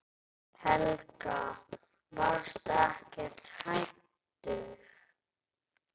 Helga: Varstu ekkert hræddur?